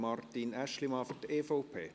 Martin Aeschlimann für die EVP.